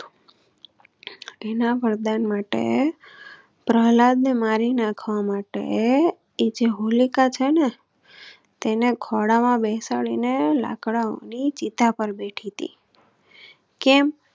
એના વરદાન માટે પ્રહલાદ ને મારી નાખવા માટે એજે હોલિકા છે ને તેને ખોળા માં બેસાડી ને લાકડા ની ચિતા પર બેઠી થી.